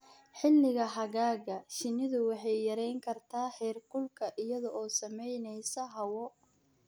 Xilliga xagaaga, shinnidu waxay yarayn kartaa heerkulka iyada oo samaynaysa hawo.